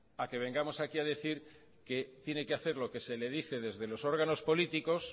a que vengamos aquí a decir que tiene que hacer lo que se le dice desde los órganos políticos